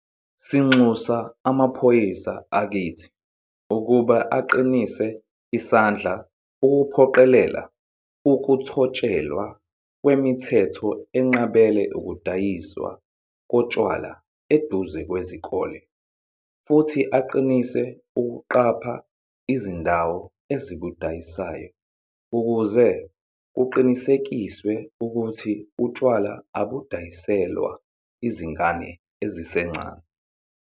Sinxusa amaphoyisa akithi ukuba aqinise isandla ukuphoqelela ukuthotshelwa kwemithetho enqabela ukudayiswa kotshwala eduze kwezikole futhi aqinise ukuqapha izindawo ezibudayisayo ukuze kuqinisekiswe ukuthi utshwala abudayiselwa izingane ezisencane.